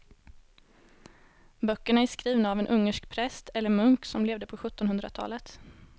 Böckerna är skrivna av en ungersk präst eller munk som levde på sjuttonhundratalet.